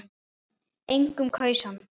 Enginn kaus hann.